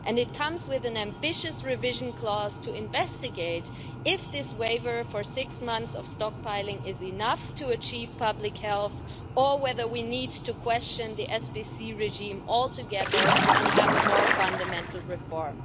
It comes with an ambitious revision clause to investigate if this 6-month stockpiling waiver is enough to achieve public health or whether we need to question the SPC regime altogether and have a more fundamental reform.